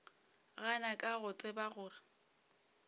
gana ka go tseba gore